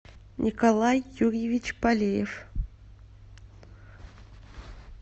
николай юрьевич полеев